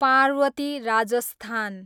Parvati, Rajasthan